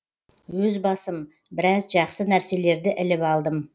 өз басым біраз жақсы нәрселерді іліп алдым